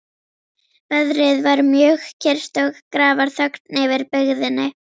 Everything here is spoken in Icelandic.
Veðrið var mjög kyrrt og grafarþögn yfir byggðinni.